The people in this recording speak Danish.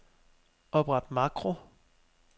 Opret makro.